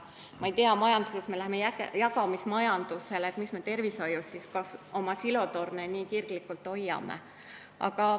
Kui me majanduses me läheme üle jagamismajandusele, miks me siis tervishoius oma silotorne nii kirglikult hoiame.